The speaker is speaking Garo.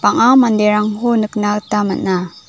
bang·a manderangko nikna gita man·a.